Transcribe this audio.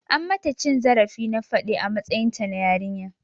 An mata cin zarafi na faɗe a matsayinta na yarinya.